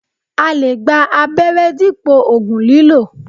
A lè gba abẹ́rẹ́ dípò oogùn lílò